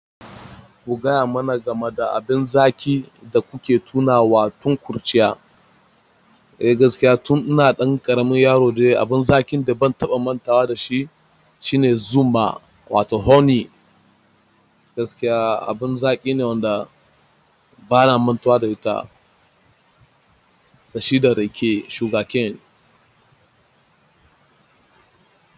Ku gaya mana game da abin zaki da kuke tunawa tun kurciya. A gaskiya tun ina ɗan ƙaramin yaro dai abun zaƙin da bazan taɓa mantawa dashi shine zuma wato honey gaskiya abun zakine wadda bana mantawa da ita da shi da rake, shuga cane.